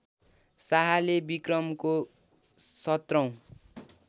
शाहले विक्रमको १७ औँ